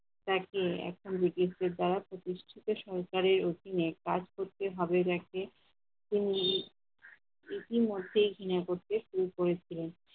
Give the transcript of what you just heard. তাকে এখন ব্রিটিশ সরকার দ্বারা প্রতিষ্ঠিত সরকারের অধিনে কাজ করতে হবে দেখে তিনি ইতিমধ্যেই কিনে করতে শুরু করেছিলেন